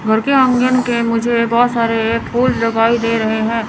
घर के आंगन के मुझे बहोत सारे फूल लगाई दे रहे हैं।